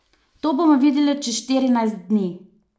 To bomo videli čez štirinajst dni.